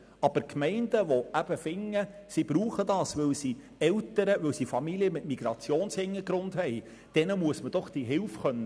Aber Gemeinden, die der Meinung sind, dies sei nötig, weil sie Eltern, Familien mit Migrationshintergrund haben, muss Hilfe angeboten werden können.